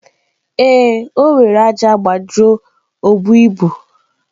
Ee, o were ájá gbajuo obu ibu.